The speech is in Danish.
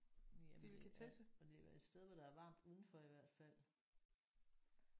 Jamen det er og det var et sted hvor der er varmt udenfor i hvert fald